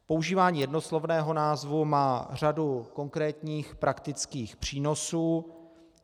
Používání jednoslovného názvu má řadu konkrétních praktických přínosů.